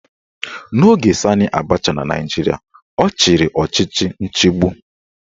N'oge Sanị Abacha na Naijiria, ọ chịrị ọchịchị nchigbu